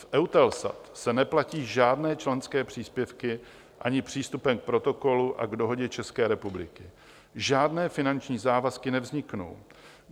V EUTELSAT se neplatí žádné členské příspěvky, ani přístupem k protokolu a k dohodě České republiky žádné finanční závazky nevzniknou.